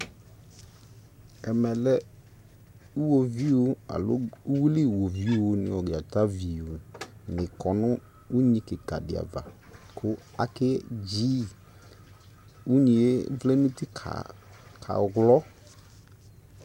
Ɛmɛ lɛ owuviu alo uwili woviu no dzatavi ne kɔ no unyi kika de ava ko ake dziiUnyie vlɛ nuti ka wlɔ